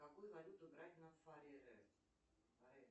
какую валюту брать на фареры